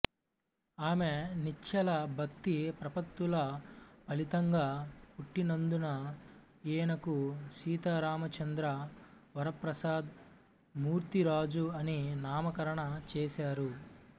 ఆమె నిశ్చల భక్తి ప్రపత్తుల ఫలితంగా పుట్టినందున ఈయనకు సీతారామచంద్ర వరప్రసాద మూర్తిరాజు అని నామకరణం చేశారు